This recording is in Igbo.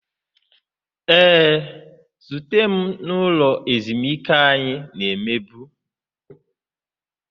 Ee, zute m n'ụlọ ezumike anyị na-emebu